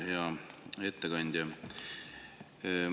Hea ettekandja!